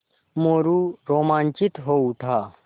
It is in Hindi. मोरू रोमांचित हो उठा